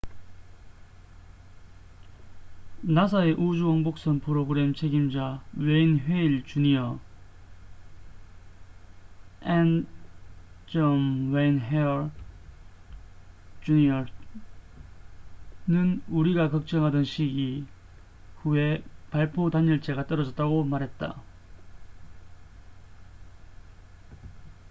"나사의 우주 왕복선 프로그램 책임자 웨인 헤일 주니어n. wayne hale jr.는 "우리가 걱정하던 시기" 후에 발포 단열재가 떨어졌다고 말했다.